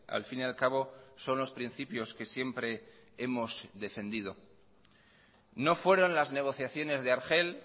al fin y al cabo son los principios que siempre hemos defendido no fueron las negociaciones de argel